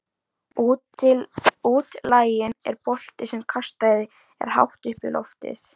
Útlaginn er bolti sem kastað er hátt upp í loftið.